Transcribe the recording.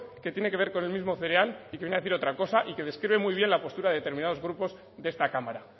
que tiene que ver con el mismo cereal y que viene a decir otra cosa y que describe muy bien la postura de determinados grupo de esta cámara